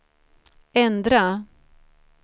ändra